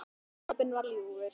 Sopinn var ljúfur.